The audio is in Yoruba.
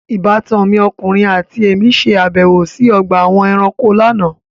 Ìbátan mi ọkùnrin àti èmí ṣe àbẹ̀wò sí ọgbà àwọn ẹranko lánàá.